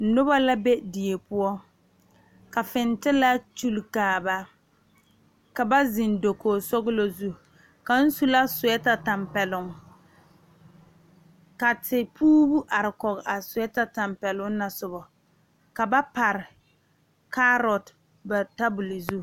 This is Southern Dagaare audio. Noba la be die poɔ ka fiŋtilaa sule kaare ka ba zeŋ dakogi kpoŋ zu kaŋ su la suɛta tanpɛloŋ ka teporo are kɔŋ a suɛta tanpɛloŋ na sobo ka ba pare kaaroo ba tabol zu.